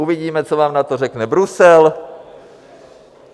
Uvidíme, co vám na to řekne Brusel.